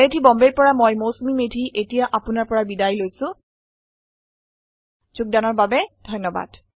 I I T Bombay ৰ পৰা মই মৌচুমী মেধী এতিয়া আপুনাৰ পৰা বিদায় লৈছো যোগদানৰ বাবে ধন্যবাদ